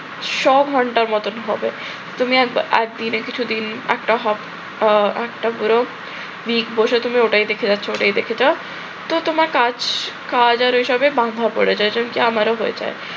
শ ঘণ্টার মতন হবে তুমি কিছুদিন একটা একটা বড় বসেছিল ওইটাই দেখে যাচ্ছো ওইটাই দেখে যাচ্ছো তো তোমার কাজ কাজ আর এসবের বাহবা পড়ে যায়, যেমনটি আমারও হয়ে যায়